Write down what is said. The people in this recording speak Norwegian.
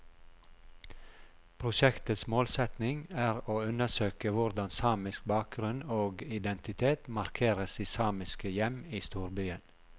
Prosjektets målsetning er å undersøke hvordan samisk bakgrunn og identitet markeres i samiske hjem i storbyen.